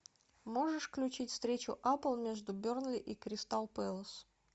можешь включить встречу апл между бернли и кристал пэлас